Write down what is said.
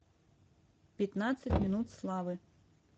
пятнадцать минут славы